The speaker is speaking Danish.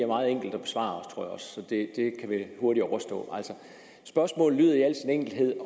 meget enkelt at besvare så det kan vel hurtigt overstås spørgsmålet lyder i al sin enkelhed